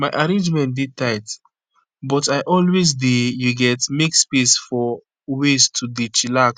my arrangement dey tight but i always dey you get make space for ways to dey chillax.